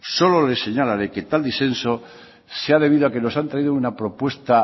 solo le señala de que tal disenso se ha venido a que nos han traído una propuesta